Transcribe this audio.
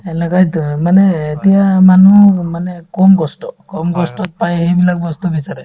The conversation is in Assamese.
সেনেকুৱাইতো মানে এতিয়া মানুহ অ মানে কম কষ্ট কম কষ্টত পাই সেইবিলাক বস্তু বিচাৰে